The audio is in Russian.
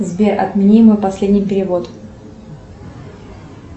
сбер отмени мой последний перевод